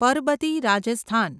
Parbati Rajasthan